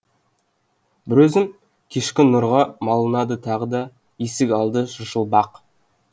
бір өзім кешкі нұрға малынады тағы да есік алды сыршыл бақ